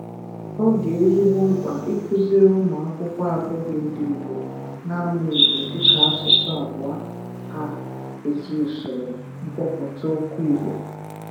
ọ dị ezigbo mkpa ikuziri ụmụ akwụkwọ abụghị ndị Igbo na-amụ Igbo dịka asụsụ abụọ ha ezi usoro mkpọpụta okwu Igbo.